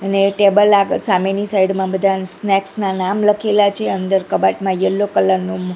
અને ટેબલ આગળ સામેની સાઈડ મા બધા સ્નેક્સ ના નામ લખેલા છે અંદર કબાટમાં યેલો કલર નું--